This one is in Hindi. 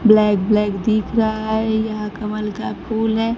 ब्लैक ब्लैक दिख रहा है यह कमल का फूल है।